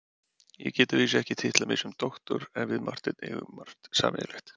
Ég get að vísu ekki titlað mig doktor en við Marteinn eigum margt sameiginlegt.